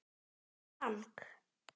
Herra Lang.